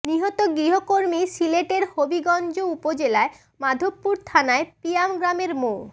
নিহত গৃহকর্মী সিলেটের হবিগঞ্জ উপজেলার মাধবপুর থানার পিয়াম গ্রামের মো